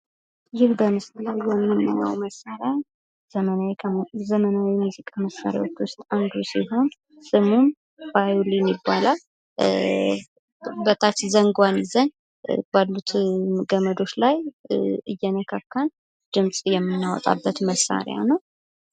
ይህ በምስሉ ላይ የምናየዉ መሳሪያ ዘመናዊ የሙዚቃ መሳሪያዎች ዉስጥ አንዱ ሲሆን ፤ ስሙም ቫዮሊን ይባላል ፤ በታች ዘንጓን ይዘን ባሉት ገመዶች ላይ እየነካካን ድምጽ የምናወጣበት መሳሪያ ነው።